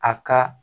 A ka